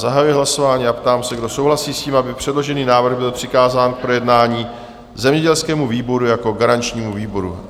Zahajuji hlasování a ptám se, kdo souhlasí s tím, aby předložený návrh byl přikázán k projednání zemědělskému výboru jako garančnímu výboru?